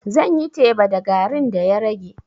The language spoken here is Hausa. Zan yi teba da garin da ya rage.